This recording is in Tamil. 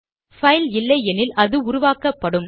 பைல் இல்லையெனில் அது உருவாக்கப்படும்